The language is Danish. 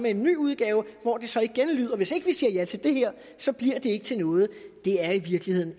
en ny udgave hvor det så igen lyder hvis ikke vi siger ja til det her så bliver det ikke til noget det er i virkeligheden